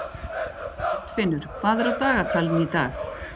Arnfinnur, hvað er á dagatalinu í dag?